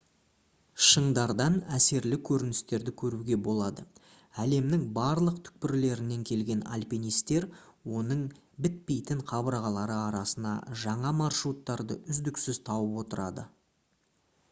шыңдардан әсерлі көріністерді көруге болады әлемнің барлық түкпірлерінен келген альпинисттер оның бітпейтін қабырғалары арасынан жаңа маршруттарды үздіксіз тауып отырады